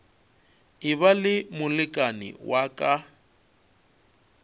eba le molekane wa ka